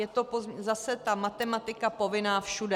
Je to zase ta matematika povinná všude.